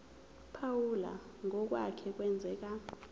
phawula ngokwake kwenzeka